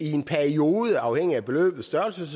i en periode selvfølgelig afhængigt af beløbets størrelse